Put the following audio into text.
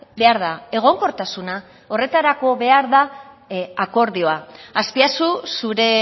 behar da egonkortasuna horretarako behar da akordioa azpiazu zure